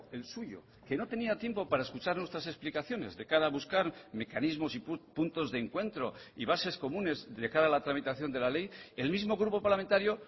el suyo que no tenía tiempo para escuchar nuestras explicaciones de cara a buscar mecanismos y puntos de encuentro y bases comunes de cara a la tramitación de la ley el mismo grupo parlamentario